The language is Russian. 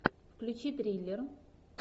включи триллер